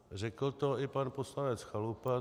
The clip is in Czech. Řekl to i pan poslanec Chalupa.